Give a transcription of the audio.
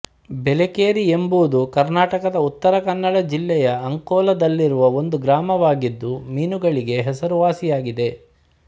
ಬೆಲೇಕೇರಿ ಎಂಬುದು ಕರ್ನಾಟಕದ ಉತ್ತರ ಕನ್ನಡ ಜಿಲ್ಲೆಯ ಅಂಕೊಲಾದಲ್ಲಿರುವ ಒಂದು ಗ್ರಾಮವಾಗಿದ್ದು ಮೀನುಗಳಿಗೆ ಹೆಸರುವಾಸಿಯಾಗಿದೆ